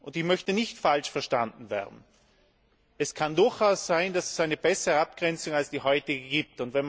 Ich möchte nicht falsch verstanden werden Es kann durchaus sein, dass es eine bessere Abgrenzung als die heutige gibt.